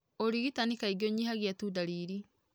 ũrigitani kaingĩ ũnyihagia tu ndariri.